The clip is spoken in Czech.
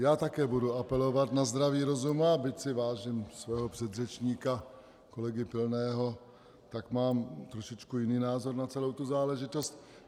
Já také budu apelovat na zdravý rozum, a byť si vážím svého předřečníka kolegy Pilného, tak mám trošičku jiný názor na celou tu záležitost.